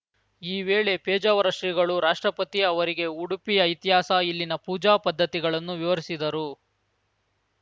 ಈ ವೇಳೆ ಪೇಜಾವರ ಶ್ರೀಗಳು ರಾಷ್ಟ್ರಪತಿ ಅವರಿಗೆ ಉಡುಪಿಯ ಇತಿಹಾಸ ಇಲ್ಲಿನ ಪೂಜಾ ಪದ್ಧತಿಗಳನ್ನು ವಿವರಿಸಿದರು